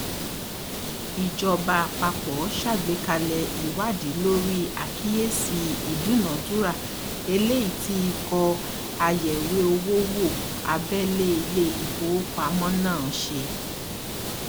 ìjọba àpapọ ṣàgbékalẹ ìwádìí lórí àkíyèsí um ìdúnàdúrà eléyìí tí ikọ ayẹwé owó wo abẹlé ilé ìfowópamọsí náà ṣe